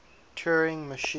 turing machine